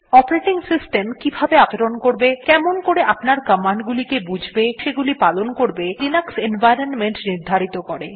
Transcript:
operating system কিভাবে আপনার সঙ্গে আচরণ করবে কেমন করে আপনার কমান্ড গুলিকে বুঝবে এবং সেগুলি পালন করবে ত়া লিনাক্স এনভাইরনমেন্ট নির্ধারিত করে